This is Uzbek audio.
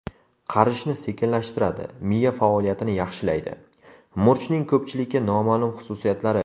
Qarishni sekinlashtiradi, miya faoliyatini yaxshilaydi: murchning ko‘pchilikka noma’lum xususiyatlari.